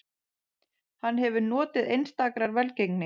Hann hefur notið einstakrar velgengni